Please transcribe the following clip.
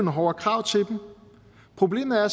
hårdere krav til dem problemet er